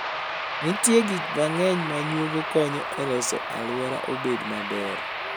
Nitie gik mang'eny ma nyuogi konyo e loso alwora obed maber.